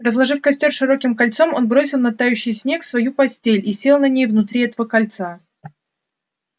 разложив костёр широким кольцом он бросил на тающий снег свою постель и сел на ней внутри этого кольца